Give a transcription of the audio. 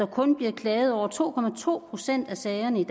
kun bliver klaget over to to procent af sagerne